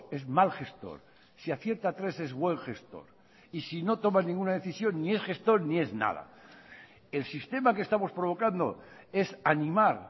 es mal gestor si acierta tres es buen gestor y si no toma ninguna decisión ni es gestor ni es nada el sistema que estamos provocando es animar